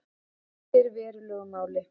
Skiptir verulegu máli